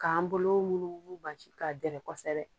K'an bolo wuluwulu ka jigin k'a dɛrɛ kosɛbɛ